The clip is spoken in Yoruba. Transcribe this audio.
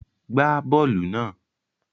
Gbá bọ́ọ́lù náà!